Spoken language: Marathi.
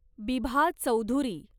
बिभा चौधुरी